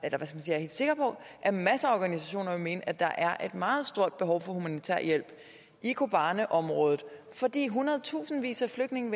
er helt sikker på at masser af organisationer vil mene at der er et meget stort behov for humanitær hjælp i kobaneområdet fordi hundredtusindvis af flygtninge